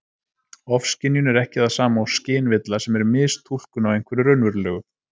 Ofskynjun er ekki það sama og skynvilla, sem er mistúlkun á einhverju raunverulegu.